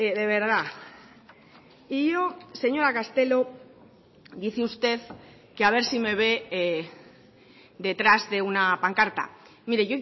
de verdad y yo señora castelo dice usted que a ver si me ve detrás de una pancarta mire